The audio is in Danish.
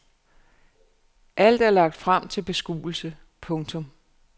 Alt er lagt frem til beskuelse. punktum